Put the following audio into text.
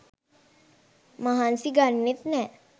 මහන්සි ගන්නෙත් නෑ.